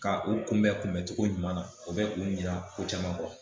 Ka u kunbɛn kunbɛn cogo ɲuman na, o bɛ u ɲinan ko caman kɔ.